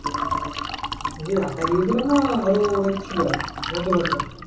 এই যে একা গিয়েছিলে না আরো অনেক ছিল বন্ধু-বান্ধব